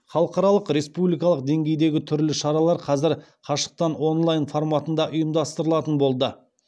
халықаралық республикалық деңгейдегі түрлі шаралар қазір қашықтан онлайн форматында ұйымдастырылатын болды